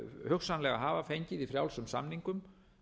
hugsanlega hafa fengið í frjálsum samningum